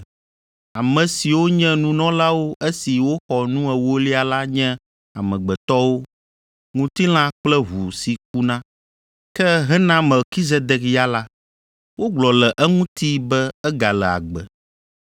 Ame siwo nye nunɔlawo esi woxɔ nu ewolia la nye amegbetɔwo; ŋutilã kple ʋu si kuna. Ke hena Melkizedek ya la, wogblɔ le eŋuti be egale agbe.